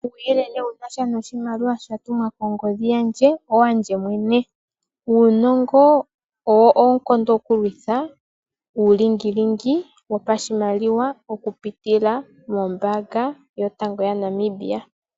Uuyelele wunasha noshimaliwa sha tumwa kongodhi yandje owandje mwene . Uunongo owo oonkondo oku lwitha uulingilingi wopashimaliwa okupitila mombaanga yotango yopashigwana yaNamibia.